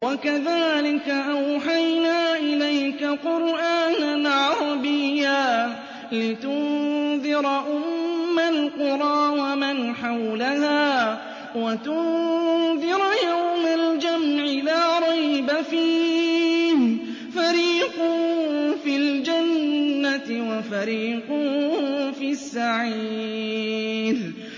وَكَذَٰلِكَ أَوْحَيْنَا إِلَيْكَ قُرْآنًا عَرَبِيًّا لِّتُنذِرَ أُمَّ الْقُرَىٰ وَمَنْ حَوْلَهَا وَتُنذِرَ يَوْمَ الْجَمْعِ لَا رَيْبَ فِيهِ ۚ فَرِيقٌ فِي الْجَنَّةِ وَفَرِيقٌ فِي السَّعِيرِ